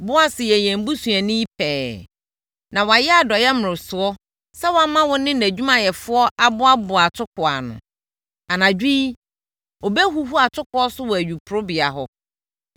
Boas yɛ yɛn busuani pɛɛ na wayɛ adɔeɛ mmorosoɔ sɛ wama wo ne nʼadwumayɛfoɔ aboaboa atokoɔ ano. Anadwo yi, ɔbɛhuhu atokoɔ so wɔ ayuporobea hɔ.